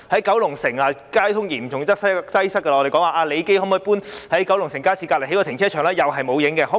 九龍城交通嚴重擠塞，我們提出李基紀念醫局能否搬遷，在九龍城街市旁邊興建停車場，同樣沒有下文。